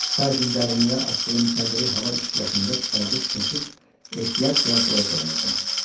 40 sajen dərinliyə atdığım kəndiri hava işıqlaşanda çıxarıb kəsib ehtiyat kəndirlərə calayacam.